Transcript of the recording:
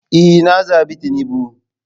Ee, na zabi tinubu.